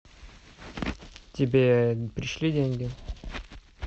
тебе пришли деньги